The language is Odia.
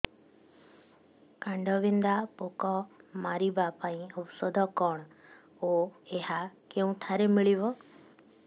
କାଣ୍ଡବିନ୍ଧା ପୋକ ମାରିବା ପାଇଁ ଔଷଧ କଣ ଓ ଏହା କେଉଁଠାରୁ ମିଳିବ